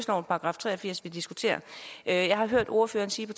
§ tre og firs vi diskuterer jeg har hørt ordføreren sige